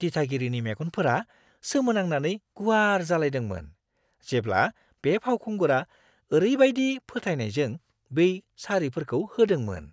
दिथागिरिनि मेगनफोरा सोमोनांनानै गुवार जालायदोंमोन, जेब्ला बे फावखुंगुरा ओरैबायदि फोथायनायजों बै सारिफोरखौ होदोंमोन।